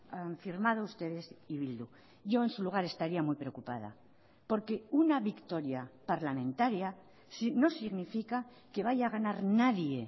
han firmado ustedes y bildu yo en su lugar estaría muy preocupada porque una victoria parlamentaria no significa que vaya a ganar nadie